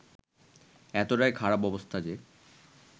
এতটাই খারাপ অবস্থা যে